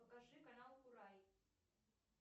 покажи канал курай